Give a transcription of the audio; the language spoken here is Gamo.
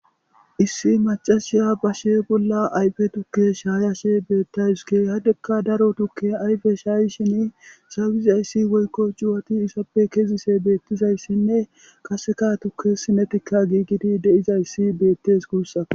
Issi macashiya bashe bolla ayfe tukke shaayashe beettayske hadekka daro tukke ayfe shaayi shin shawizayssi woykko juwati isappe kezise beettizayssinne kaseka tukke sinetika giigidi de'izayssi beettes guussa.